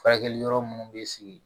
Furakɛli yɔrɔ munnu bɛ sigi